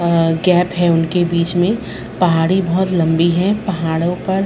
अ gap है उनके बीच में पहाड़ी बोहत लम्बी है पहाड़ो पर--